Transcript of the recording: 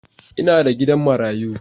Ina da gidan marayu.